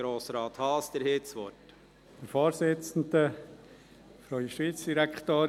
Grossrat Haas, Sie haben das Wort.